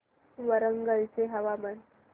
वरंगल चे हवामान